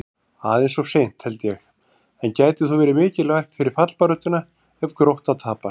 Aðeins of seint, held ég, en gæti þó verið mikilvægt fyrir fallbaráttuna ef Grótta tapar!